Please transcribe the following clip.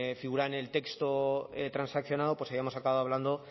figuraba en el texto transaccionado pues hayamos acabado hablando